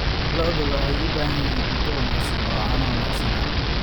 Lo'du waxay u baahan yihiin cunto wanaagsan oo caano wanaagsan ah.